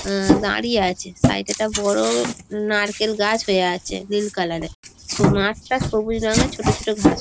এ দাঁড়িয়ে আছে সাইড -এ একটা বড় নারকেল গাছ হয়ে আছে নীল কালার -এর স মাঠ টা সবুজ রঙের ছোট ছোট ঘাস--